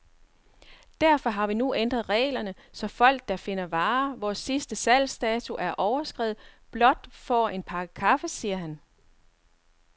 Derfor har vi nu ændret reglerne, så folk der finder varer, hvor sidste salgsdato er overskredet, blot får en pakke kaffe, siger han.